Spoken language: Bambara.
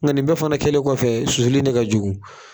Nka nin bɛɛ fana kɛlen kɔfɛ susuli in de ka jugu.